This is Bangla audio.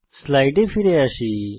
স্লাইডে ফিরে যাই